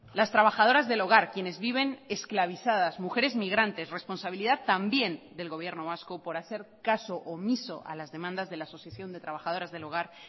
las trabajadoras del hogar quienes viven esclavizadas mujeres migrantes responsabilidad también del gobierno vasco por hacer caso omiso a las demandas de la asociación de trabajadoras del hogar